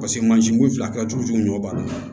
Paseke mansinko in filɛ a ka jugu ɲɔ b'a la